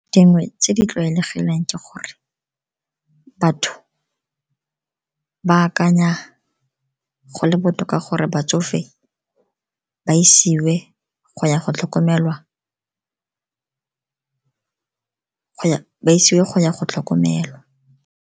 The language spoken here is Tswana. Dingwe tse di tlwaelegileng ke gore batho ba akanya go le botoka gore batsofe ba isiwe go ya go tlhokomelwa.